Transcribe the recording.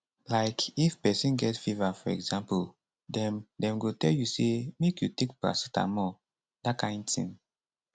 like if pesin get fever for example dem dem go tell you say make you take paracetamol dat kain tin